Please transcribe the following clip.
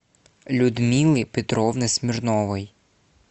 людмилы петровны смирновой